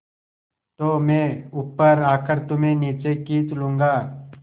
तो मैं ऊपर आकर तुम्हें नीचे खींच लूँगा